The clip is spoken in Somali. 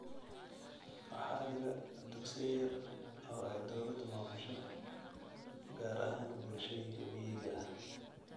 Waxaa jira dugsiyo yar oo ay dowladdu maamusho, gaar ahaan bulshooyinka miyiga ah.